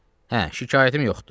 Hə, şikayətim yoxdur.